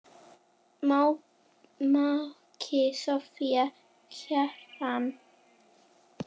Maki Soffía Kjaran.